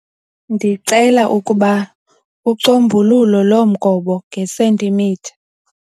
Ndicela ukuba ucombululo lo mgobo ngesentimitha.